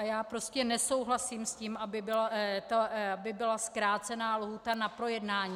A já prostě nesouhlasím s tím, aby byla zkrácena lhůta na projednání.